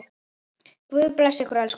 Guð blessi þig, elsku bróðir.